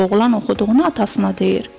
Oğlan oxuduğunu atasına deyir.